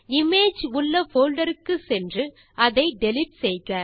image உள்ள folder க்கு சென்று அதை டிலீட் செய்க